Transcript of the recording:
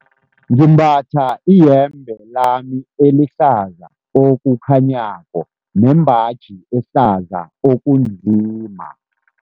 Ngimbatha iyembe lami elihlaza okukhanyako nembaji ehlaza okunzima.